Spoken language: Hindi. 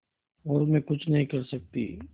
और मैं कुछ नहीं कर सकती